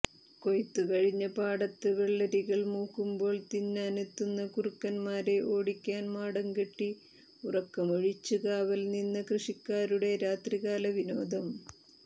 കൊയ്ത്തുകഴിഞ്ഞ പാടത്ത് വെള്ളരികൾ മൂക്കുമ്പോൾ തിന്നാനെത്തുന്ന കുറുക്കൻമാരെ ഓടിക്കാൻ മാടംകെട്ടി ഉറക്കമൊഴിച്ച് കാവൽനിന്ന കൃഷിക്കാരുടെ രാത്രികാല വിനോദം